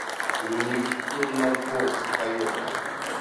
он екі бүтін оннан тоғыз тойота